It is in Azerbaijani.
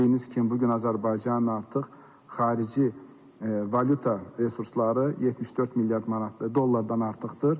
Bildiyiniz kimi bu gün Azərbaycanın artıq xarici valyuta resursları 74 milyard manatdan dollardan artıqdır.